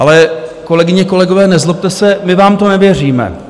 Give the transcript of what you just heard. Ale, kolegyně, kolegové, nezlobte se, my vám to nevěříme.